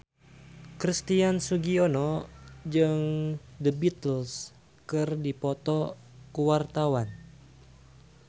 Christian Sugiono jeung The Beatles keur dipoto ku wartawan